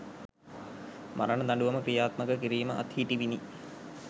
මරණ දඬුවම ක්‍රියාත්මක කිරීම අත්හිටිවිණි.